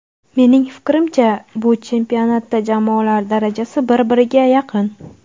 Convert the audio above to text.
Mening fikrimcha, bu chempionatda jamoalar darajasi bir biriga yaqin.